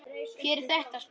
Hver er þetta, spurði hann.